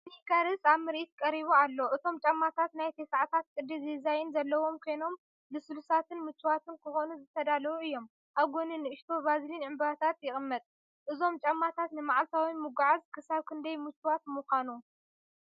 ስኒከርስ ኣብ ምርኢት ቀሪቡ ኣሎ፡ እቶም ጫማታት ናይ 90ታት ቅዲ ዲዛይን ዘለዎም ኮይኖም፡ ልስሉሳትን ምቹኣትን ክኾኑ ዝተዳለዉ እዮም። ኣብ ጎኒ ንእሽቶ ቫዝሊን ዕምባባታት ይቕመጥ። እዞም ጫማታት ንመዓልታዊ ምጉዓዝ ክሳብ ክንደይ ምቹኣት ምኾኑ?